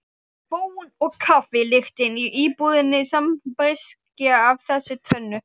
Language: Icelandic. Bón og kaffi lyktin í íbúðinni sambreyskja af þessu tvennu.